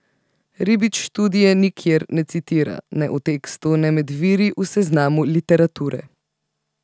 Ribič študije nikjer ne citira, ne v tekstu ne med viri v seznamu literature.